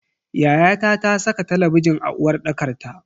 Yayata ta saka talabijin a uwarɗakar ta.